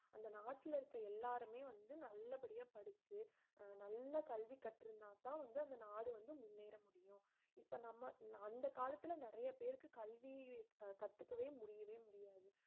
அந்த நாட்டுல இருக்க எல்லாருமே வந்து நல்லபடியா படிச்சு அஹ் நல்ல கல்வி கற்றிருந்தாத்தான் வந்து அந்த நாடு வந்து முன்னேற முடியும் இப்ப நம்ம அந்த காலத்துல நிறைய பேருக்கு கல்வி கத்துக்கவே முடியவே முடியாது